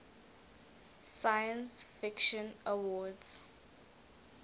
science fiction awards